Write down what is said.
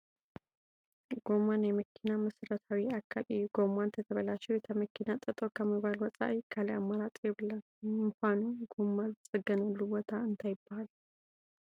ጐማ ናይ መኪና መሰረታዊ ኣካል እዩ፡፡ ጐማ እንተተበላሽዩ እታ መኪና ጠጠው ካብ ምባል ወፃኢ ካልእ ኣማራፂ የብላን፡፡ ንምዃኑ ግማ ዝፀገነሉ ቦታ እንታይ ይበሃል?